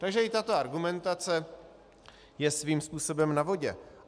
Takže i tato argumentace je svým způsobem na vodě.